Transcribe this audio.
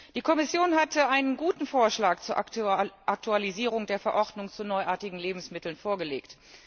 Die Kommission hatte einen guten Vorschlag zur Aktualisierung der Verordnung zu neuartigen Lebensmitteln vorgelegt.